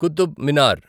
Qutub Minar